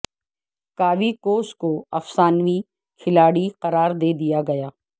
کاوی کوس کو افسانوی کھلاڑی قرار دے دیا گیا